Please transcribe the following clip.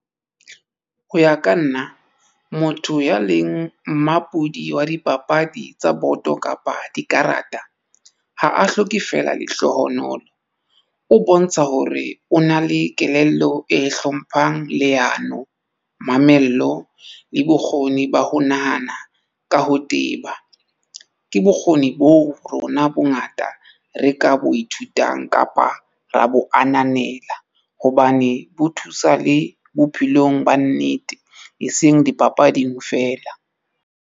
Ho ya ka nna motho ya leng mmampudi wa dipapadi tsa boto kapa dikarata ha a hloke fela lehlohonolo. O bontsha hore o na le kelello e hlomphang leano, mamello le bokgoni ba ho nahana ka ho teba. Ke bokgoni bo rona bongata re ka bo ithutang kapa ra bo ananela hobane bo thusa le bophelong ba nnete e seng dipapading feela.